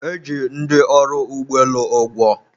e ji ndị ọrụ ụgbọelu ụgwọ